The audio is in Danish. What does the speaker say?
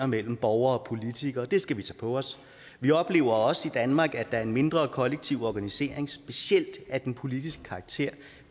mellem borgere og politikere det skal vi tage på os vi oplever også i danmark at der er en mindre kollektiv organisering specielt af den politiske karakter